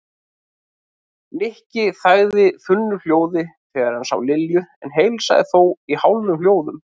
Nikki þagði þunnu hljóði þegar hann sá Lilju en heilsaði þó í hálfum hljóðum.